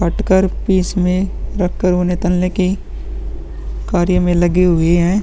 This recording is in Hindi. काट कर पीस में रख कर उन्हें तलने की कार्य में लगे हुए हैं।